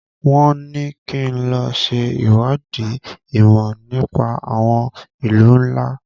Wọ́n ní kí n lọ ṣe ìwádìí ìmọ̀ nípa àwọn ìlú ńlá.